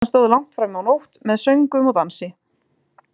Veislan stóð langt fram á nótt með söngvum og dansi.